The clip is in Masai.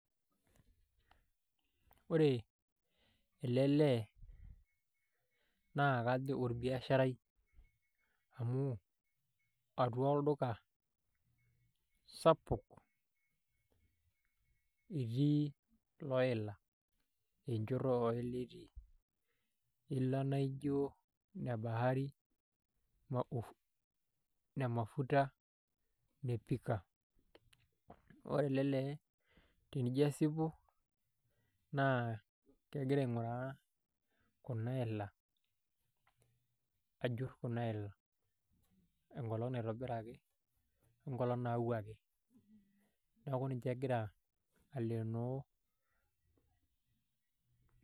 Ore ele lee naa kajo orbiasharai amu atua olduka sapuk etii looila enchoto oo ila etii iila naa ijo ine bahari ine Ufuta o ne Pika ore ele lee tenijo asipu naa kegira aing'uraa kuna ila ajurr kuna ila enkolong' naitobiraki o enkolong' nayauaki, neeku ninche egira aleenoo.